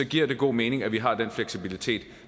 giver det god mening at vi har den fleksibilitet